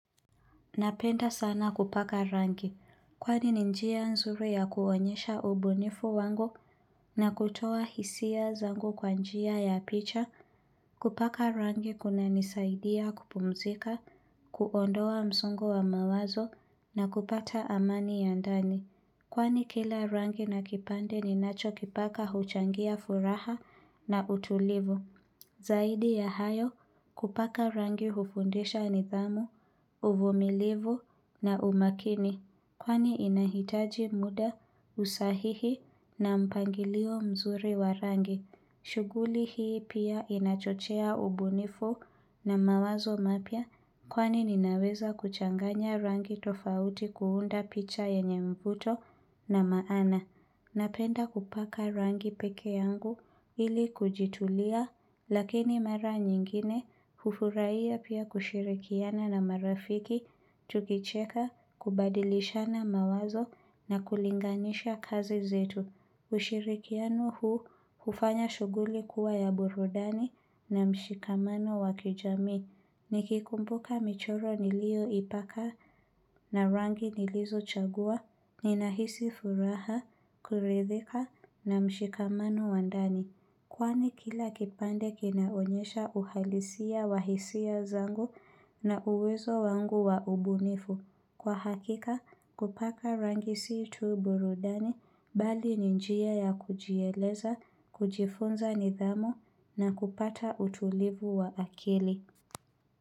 Napenda sana kupaka rangi, kwani ni njia nzuri ya kuonyesha ubunifu wangu na kutoa hisia zangu kwa njia ya picha, kupaka rangi kuna nisaidia kupumzika, kuondoa msongo wa mawazo na kupata amani ya ndani. Kwani kila rangi na kipande ninachokipaka huchangia furaha na utulivu. Zaidi ya hayo kupaka rangi hufundisha nithamu, uvumilivu na umakini. Kwani inahitaji muda usahihi na mpangilio mzuri wa rangi. Shughuli hii pia inachochea ubunifu na mawazo mapya kwani ninaweza kuchanganya rangi tofauti kuunda picha yenye mvuto na maana. Napenda kupaka rangi pekee yangu ili kujitulia lakini mara nyingine hufurahia pia kushirikiana na marafiki tukicheka kubadilishana mawazo na kulinganisha kazi zetu. Ushirikiano huu hufanya shughuli kuwa ya burudani na mshikamano wa kijamii Nikikumbuka michoro nilioipaka na rangi nilizochagua Ninahisi furaha, kuridhika na mshikamano wa ndani Kwani kila kipande kinaonyesha uhalisia wa hisia zangu na uwezo wangu wa ubunifu Kwa hakika kupaka rangi si tuu burudani bali ni njia ya kujieleza, kujifunza nidhamu na kupata utulivu wa akili.